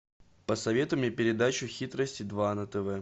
посоветуй мне передачу хитрости два на тв